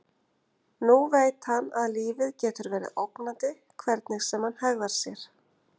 Nú veit hann að lífið getur verið ógnandi hvernig sem hann hegðar sér.